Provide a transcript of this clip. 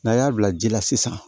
N'a y'a bila ji la sisan